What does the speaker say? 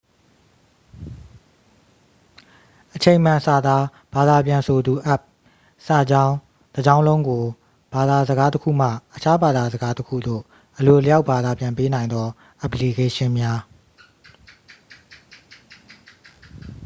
အချိန်မှန်စာသားဘာသာပြန်ဆိုသူအက်ပ် စာကြောင်းတစ်ကြောင်းလုံးကို ဘာသာစကားတစ်ခုမှ အခြားဘာသာစကားတစ်ခုသို့ အလိုအလျောက်ဘာသာပြန်ပေးနိုင်သောအက်ပလီကေးရှင်းများ